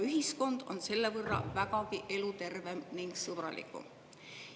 Ühiskond on selle võrra vägagi elutervem ning sõbralikum.